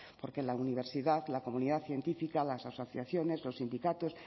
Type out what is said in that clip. porque la universidad la comunidad científica las asociaciones los sindicatos